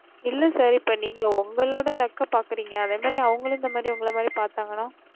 இல்ல sir நீங்க ஒங்களோட luck அபக்குறேங்க அதே மாறி அவங்களும் இந்த மாறி ஒங்கள மாறி பாத்தாங்கன்னா